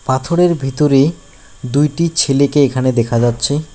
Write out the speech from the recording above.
পাথরের ভিতরে দুইটি ছেলেকে এখানে দেখা যাচ্ছে।